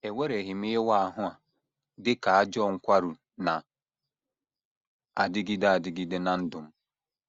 Ewereghị m ịwa ahụ a dị ka ajọ nkwarụ na - adịgide adịgide ná ndụ m.